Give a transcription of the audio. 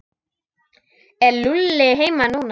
Er Lúlli heima núna?